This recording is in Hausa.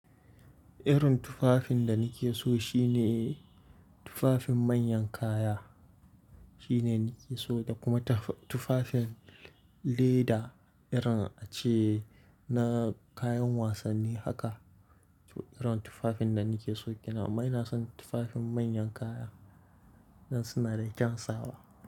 Irin tufafin da nake so shine tufafin manyan kaya shine nake so, da kuma tufafin leda irin ace na kayan wasanni haka. Irin tufafin da nake so kenan amma ina son tufafin manyan kaya, dan suna da kyan sawa.